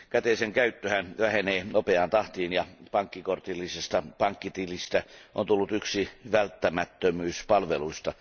Käteisen käyttöhän vähenee nopeaan tahtiin, ja pankkikortillisesta pankkitilistä on tullut yksi välttämättömyyspalveluista.